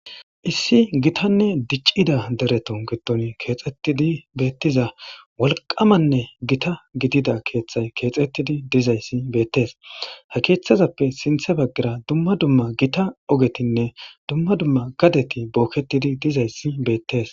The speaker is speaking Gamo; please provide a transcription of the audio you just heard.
Issi gitanne dicida deretu gidon kexetidi betiza wolqamanne giata gidida ketha kexetidi dizaysa betese he kethazape sintha bagara dumma dumma gita ogeti dumma dumma gadeti boketi dizaysa betese